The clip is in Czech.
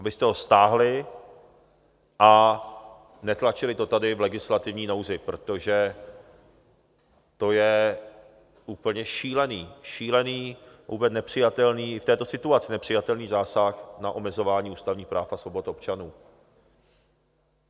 Abyste ho stáhli a netlačili to tady v legislativní nouzi, protože to je úplně šílený, šílený, vůbec nepřijatelný, i v této situaci nepřijatelný zásah na omezování ústavních práv a svobod občanů.